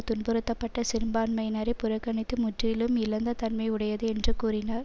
துன்புறத்தப்பட்ட சிறுபான்மையினரை புறக்கணித்து முற்லும் இழிந்த தன்மை உடையது என்றும் கூறினார்